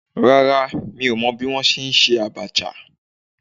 Rárá, mi ò mọ̀ bí wọ́n ṣe ń ṣe Abacha.